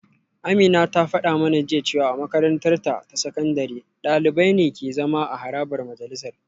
Amina ta fada mana jiya cewa a makarantarta ta sakandare dalibai ne ke zama a harabar majalisar